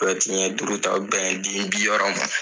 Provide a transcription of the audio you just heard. Bruyɛti ɲɛn duuru ta o bɛ bɛn den bi wɔɔrɔ man.